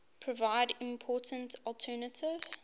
provide important alternative